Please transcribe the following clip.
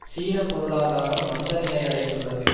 சீன பொருளாதாரம் மந்த நிலையடைந்துள்ளது